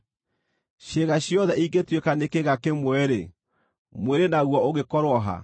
Ciĩga ciothe ingĩtuĩka nĩ kĩĩga kĩmwe-rĩ, mwĩrĩ naguo ũngĩkorwo ha?